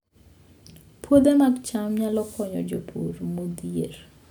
Puothe mag cham nyalo konyo jopur modhier